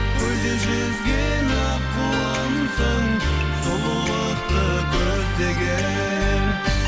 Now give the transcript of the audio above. көлде жүзген аққуымсың сұлулықты көздеген